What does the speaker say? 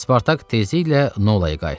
Spartak tezliklə Nolaya qayıtdı.